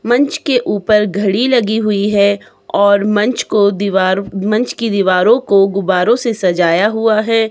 मंच के ऊपर घड़ी लगी हुई है और मंच को दीवार मंच की दीवारों को गुब्बारों से सजाया हुआ है।